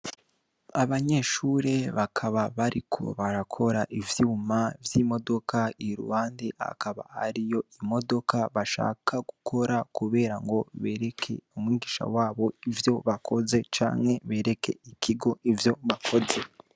Abanyeshure bakaba bariko barakora ivyuma vy'imodoka i ruwande hakaba ari yo imodoka bashaka gukora, kubera ngo bereke umwigisha wabo ivyo bakoze canke bereke ikigo ivyo bakoze.